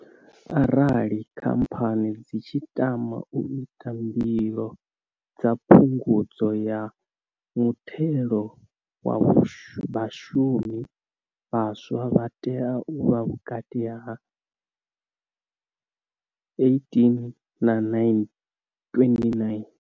Arali Khamphani dzi tshi tama u ita mbilo dza Phungudzo ya Muthelo wa Vhashumi, vhaswa vha tea u vha vhukati ha 18 na 29.